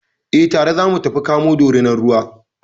Eh, tare za mu tafi kamo Dorinar ruwa.